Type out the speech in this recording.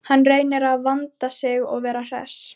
Hann reynir að vanda sig og vera hress.